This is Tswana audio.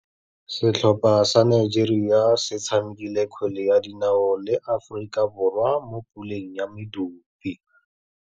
Setlhopha sa Nigeria se tshamekile kgwele ya dinaô le Aforika Borwa mo puleng ya medupe.